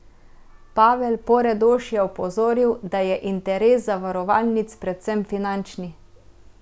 Pavel Poredoš je opozoril, da je interes zavarovalnic predvsem finančni.